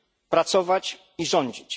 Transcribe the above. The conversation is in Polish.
pracować i rządzić.